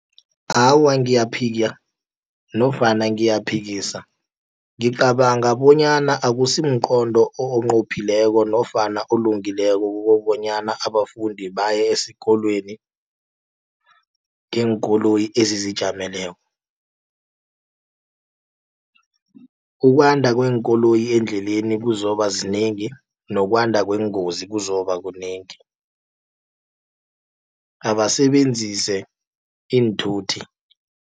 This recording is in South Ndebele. Awa, ngiyaphika nofana ngiyaphikisa ngicabanga bonyana akusi mqondo onqophileko, nofana olungileko kukobonyana abafundi baye esikolweni ngeenkoloyi ezizijameleko. Ukwanda kweenkoloyi endleleni kuzokuba zinengi, nokwanda kweengozi kuzokuba kunengi abasebenzise iinthuthi.